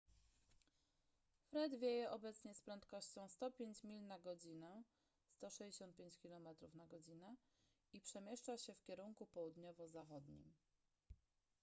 fred wieje obecnie z prędkością 105 mil na godzinę 165 km/godz. i przemieszcza się w kierunku południowo-zachodnim